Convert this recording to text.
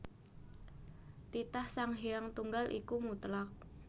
Titah Sang Hyang Tunggal iku mutlak